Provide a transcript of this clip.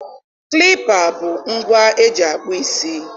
klippa bụ ngwa eji akpụ isi.